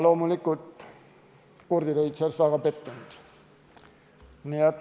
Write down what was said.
Loomulikult, kurdid olid väga pettunud.